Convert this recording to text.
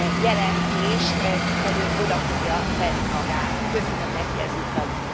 jelentést, hiszen ő oda fogja tenni magát, köszönöm neki ezúttal is.